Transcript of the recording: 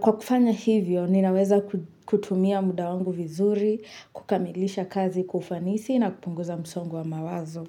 kwa kufanya hivyo ninaweza kutumia muda wangu vizuri, kukamilisha kazi kwa ufanisi na kupunguza msongo wa mawazo.